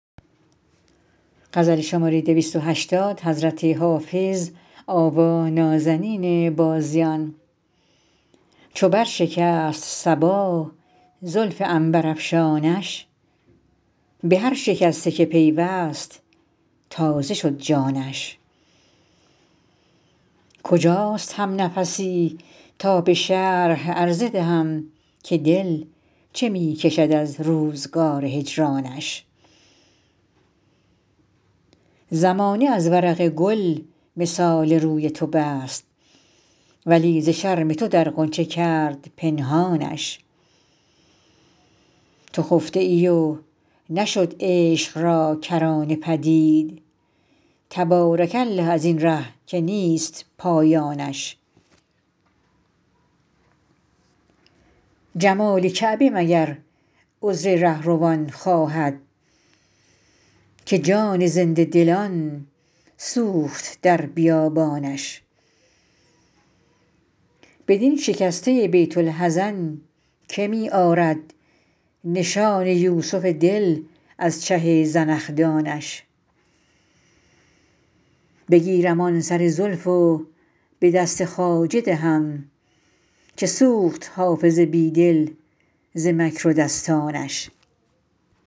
چو بر شکست صبا زلف عنبرافشانش به هر شکسته که پیوست تازه شد جانش کجاست همنفسی تا به شرح عرضه دهم که دل چه می کشد از روزگار هجرانش زمانه از ورق گل مثال روی تو بست ولی ز شرم تو در غنچه کرد پنهانش تو خفته ای و نشد عشق را کرانه پدید تبارک الله از این ره که نیست پایانش جمال کعبه مگر عذر رهروان خواهد که جان زنده دلان سوخت در بیابانش بدین شکسته بیت الحزن که می آرد نشان یوسف دل از چه زنخدانش بگیرم آن سر زلف و به دست خواجه دهم که سوخت حافظ بی دل ز مکر و دستانش